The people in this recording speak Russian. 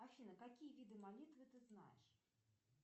афина какие виды молитвы ты знаешь